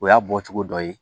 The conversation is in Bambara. O y'a bɔcogo dɔ ye